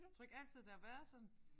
Tror du ikke altid det har været sådan?